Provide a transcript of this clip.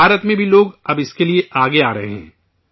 ہندوستان میں بھی لوگ اب اس کے لیے آگے آ رہے ہیں